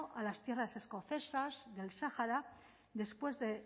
a las tierras escocesas del sahara después de